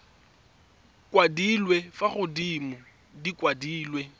kwadilwe fa godimo di kwadilwe